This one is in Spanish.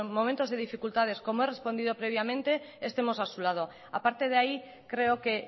momentos de dificultades como he respondido previamente estemos a su lado a parte de ahí creo que